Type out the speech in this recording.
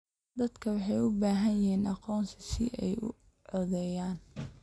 Dadku waxay u baahan yihiin aqoonsi si ay u codeeyaan.